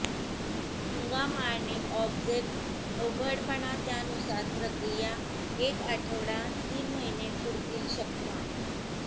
हंगाम आणि ऑब्जेक्ट अवघडपणा त्यानुसार प्रक्रिया एक आठवडा तीन महिने पुरतील शकता